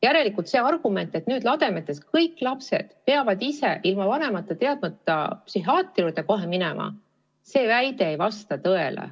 Järelikult see argument, et nüüd lademetes kõik lapsed peavad ise ilma vanemate teadmata psühhiaatri juurde minema, ei vasta tõele.